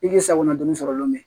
I k'i sagona don sɔrɔ lome